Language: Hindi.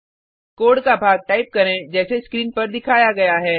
कोड का भाग टाइप करें जैसे स्क्रीन पर दिखाया गया है